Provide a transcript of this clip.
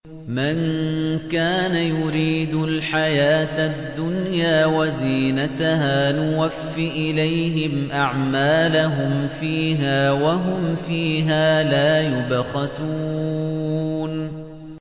مَن كَانَ يُرِيدُ الْحَيَاةَ الدُّنْيَا وَزِينَتَهَا نُوَفِّ إِلَيْهِمْ أَعْمَالَهُمْ فِيهَا وَهُمْ فِيهَا لَا يُبْخَسُونَ